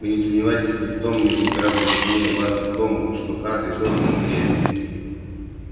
вы не сомневаетесь ни в том что император сильнее вас ни в том что хари сэлдон умнее